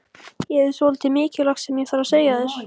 Ég hef svolítið mikilvægt sem ég þarf að segja þér.